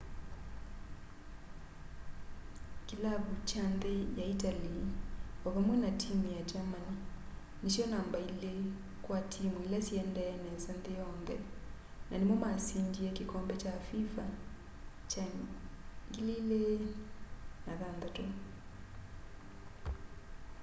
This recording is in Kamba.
kilavu kya nthi ya itali o vamwe na timu ya germany nisyo namba ili kwa timu ila siendee nesa nthi yonthe na nimo masindie kikombe kya fifa 2006